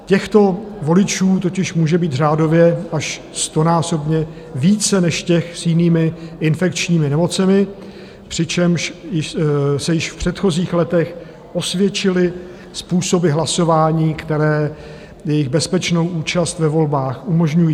Těchto voličů totiž může být řádově až stonásobně více než těch s jinými infekčními nemocemi, přičemž se již v předchozích letech osvědčily způsoby hlasování, které jejich bezpečnou účast ve volbách umožňují.